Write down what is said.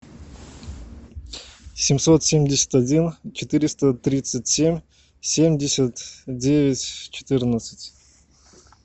семьсот семьдесят один четыреста тридцать семь семьдесят девять четырнадцать